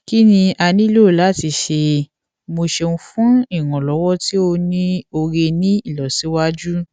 kini a nilo lati ṣe mo ṣeun fun iranlọwọ ti o ni ore ni ilosiwaju